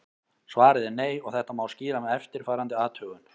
Svarið er nei og þetta má skýra með eftirfarandi athugun.